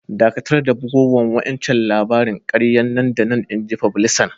Dakatar da bugowan wa'incan labarin kariya nan da nan! Inji fublisan.